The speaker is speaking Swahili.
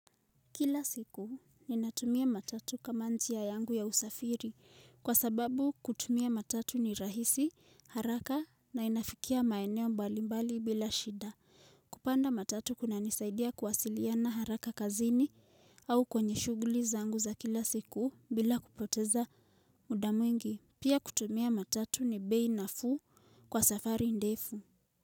Kila siku ninatumia matatu kama njia yangu ya usafiri kwa sababu kutumia matatu ni rahisi haraka na inafikia maeneo mbali mbali bila shida. Kupanda matatu kuna nisaidia kuwasiliana haraka kazini au kwenye shuguliza angu za kila siku bila kupoteza mudamu mwingi. Pia kutumia matatu ni bei nafuu kwa safari ndefu.